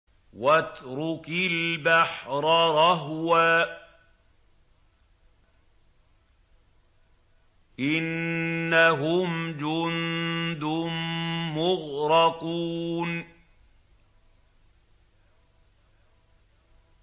وَاتْرُكِ الْبَحْرَ رَهْوًا ۖ إِنَّهُمْ جُندٌ مُّغْرَقُونَ